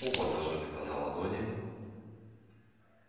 оба зажали глаза ладонями